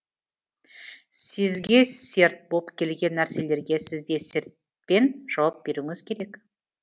сізге серт боп келген нәрселерге сізде сертпен жауап беруіңіз керек